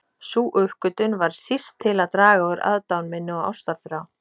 Sú uppgötvun varð síst til að draga úr aðdáun minni og ástarþrá.